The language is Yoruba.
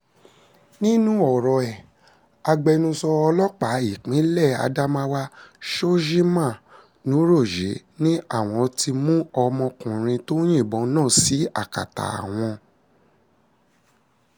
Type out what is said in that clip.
nínú ọ̀rọ̀ ẹ̀ agbẹnusọ ọlọ́pàá ìpínlẹ̀ adamawa shojiman nuroje ni àwọn ti mú ọmọkùnrin tó yìnbọn náà sí akátá àwọn